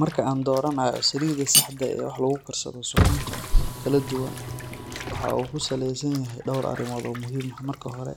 Marka aan dooranayo saliidda saxda ah ee wax lagu karsado suxuunta kala duwan waxa uu ku saleysan yahay dhowr arrimood oo muhiim ah. Marka hore,